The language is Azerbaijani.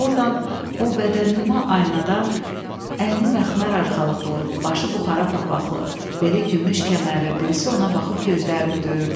Ordan o bədənnüma aynadan əyni məxmər arxalıqlı, başı buxara papaqlı, beli gümüş kəmərli birisi ona baxıb gözlərini döyürdü.